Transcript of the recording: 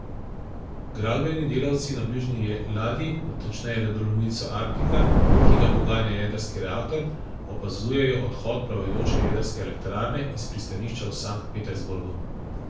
Gradbeni delavci na bližnji ladji, natančneje ledolomilcu Arktika, ki ga poganja jedrski reaktor, opazujejo odhod plavajoče jedrske elektrarne iz pristanišča v Sankt Petersburgu.